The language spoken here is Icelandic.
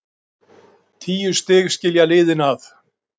Tíu stig skilja liðin að.